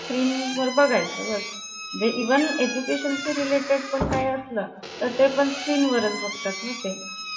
स्क्रीनवर बघाय चं जीवन education चे related पण काय असलं तर ते पण स्क्रीन वर बघतात नाते